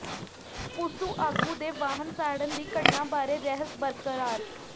PUSU ਆਗੂ ਦੇ ਵਾਹਨ ਸਾੜਨ ਦੀ ਘਟਨਾ ਬਾਰੇ ਰਹੱਸ ਬਰਕਰਾਰ